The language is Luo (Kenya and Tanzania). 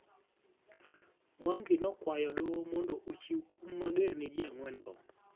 Mwangi nokwayo doho mondo ochiw kuma mager ne jii angwen go.